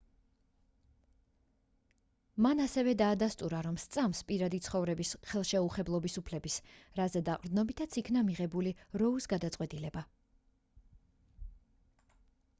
მან ასევე დაადასტურა რომ სწამს პირადი ცხოვრების ხელშეუხებლობის უფლების რაზე დაყრდნობითაც იქნა მიღებული როუს გადაწყვეტილება